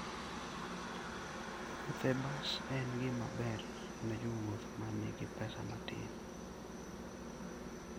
Wuoth e bas en gima ber ne jowuoth ma nigi pesa matin.